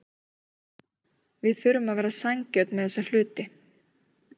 Við þurfum að vera sanngjörn með þessa hluti.